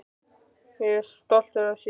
Ég er svo stoltur af þér.